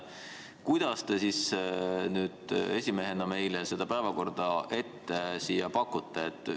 Kuidas te nüüd esimehena meile seda päevakorda siin pakute?